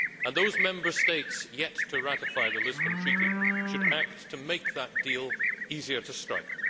Those Member States yet to ratify the Lisbon Treaty should act to make that deal easier to strike.